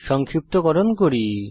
সংক্ষিপ্তকরণ করি